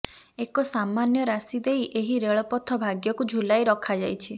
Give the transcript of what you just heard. ଏକ ସାମାନ୍ୟ ରାଶି ଦେଇ ଏହି ରେଳପଥ ଭାଗ୍ୟକୁ ଝୁଲାଇ ରଖାଯାଇଛି